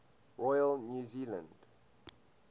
royal new zealand